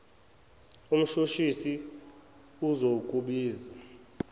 umshush isi uzokubiza